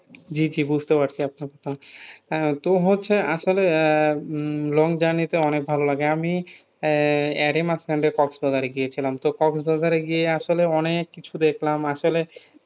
জি জি বুঝতে পারছি আপনার কথা আহ তো হচ্ছে আসলে আহ উম long journey তে অনেক ভাল লাগে আমি আহ এরই মাঝখানে কক্সবাজারে গিয়েছিলাম তো কক্সবাজারে গিয়ে আসলে অনেক কিছু দেখলাম আসলে